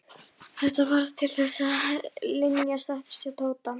Þetta varð til þess að Linja settist að hjá Tóta.